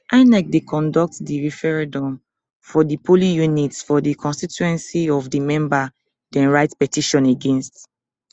inec dey conduct di referendum for di polling units for di constituency of di member dem write petition against